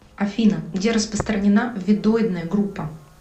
афина где распространена веддоидная группа